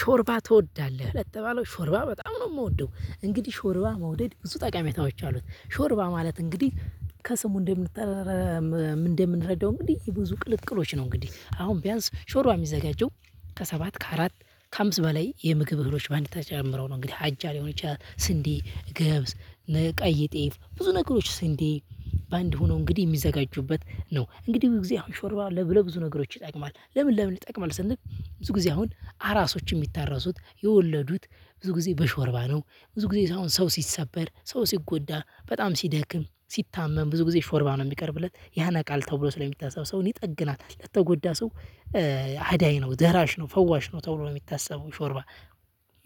ሾርባ ትወዳለህ ለተባለው ሾርባ በጣም ነው የምወደው። እንግዲህ ሾርባ መውደድ ብዙ ጠቃሚያዎች አሉት። ሾርባ ማለት እንግዲህ ከስሙ እንደምንጠራረር እንደምንረዳው እንግዲህ ብዙ ቅልቅሎች ነው። እንግዲህ አሁን ቢያንስ ሾርባ የሚዘጋጀው ከሰባት ከአራት ከአምስት በላይ የምግብ እህሎች በአንድ ተጨምረው ነው። እንግዲህ አጃ ሊሆን ይቻላል ስንዴ ገብስ። ቀይ ጤፍ ብዙ ነገሮች ስንዴ በአንድ ሆኖ እንግዲህ የሚዘጋጁበት ነው። እንግዲህ ብዙ ጊዜ አሁን ሾርባ ለ ብዙ ነገሮች ይጠቅማል። ለምን ለምን ይጠቅማል? ስንል ብዙ ጊዜ አሁን አራሶች የሚታረሱት የወለዱት ብዙ ጊዜ በሾርባ ነው። ብዙ ጊዜ አሁን ሰው ሲሰበር ሰው ሲጎዳ በጣም ሲደክም ሲታመም ብዙ ጊዜ ሾርባ ነው የሚቀርብለት ያነቃል ተብሎ ስለሚታሰብ ሰውን ይጠግናል ለተጎዳ ሰው። አዳኝ ነው ደራሽ ነው ፈዋሽ ነው ተብሎ የሚታሰበው ሾርባ።